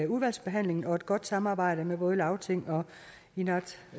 udvalgsbehandlingen og et godt samarbejde med både lagting og